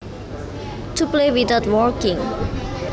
To play without working